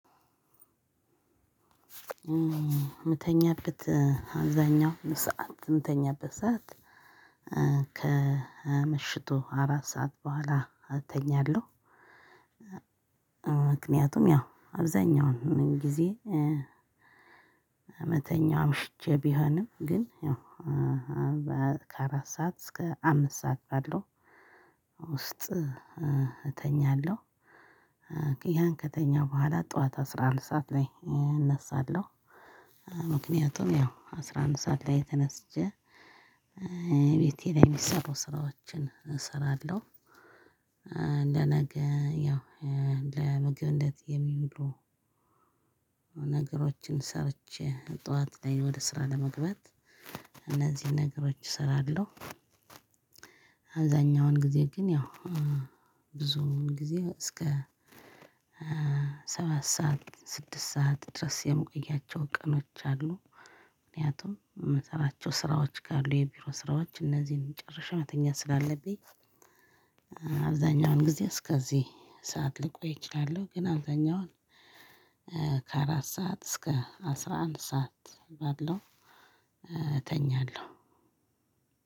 ምተኛበት አብዛኛው ሰዓት ምተኛበት ሰዓት ከምሽቱ አራት ሰዓት በኋላ እተኛለሁ። ምክንያቱም ያው አብዛኛውን ምን ጊዜ። ምተኛው አምሽቼ ቢሆንም ግን ያው ከአራት ሰዓት እስከ አምስት ሰዓት ባለው ውስጥ እተኛለሁ። ያን ከተኛሁ በኋላ ጠዋት አስራ ሁለት ሰዓት ላይ እነሳለሁ። ምክንያቱም ያው አስራ አንድ ሰዓት ላይ ተነስቼ ቤቴ ላይ የሚሰሩ ስራዎችን እሰራለሁ። ለነገ ያው ለምግብነት የሚውሉ ነገሮችን ሰርቼ ጠዋት ላይ ወደ ስራ ለመግባት እነዚህን ነገሮች እሰራለሁ። አብዛኛውን ጊዜ ግን ያው ብዙውን ጊዜ እስከ ሰባት ሰዓት ስድስት ሰዓት ድረስ የምቆያቸው ቀኖች አሉ። ምክንያቱም የምሰራቸው ስራዎች ካሉ የቢሮ ስራዎች እነዚህን ጨርሼ መተኛት ስላለብኝ። አብዛኛውን ጊዜ እስከዚህ ሰዓት ልቆይ እችላለሁ። ግን አብዛኛውን ከአራት ሰዓት እስከ አስራ አንድ ሰዓት ባለው እተኛለሁ።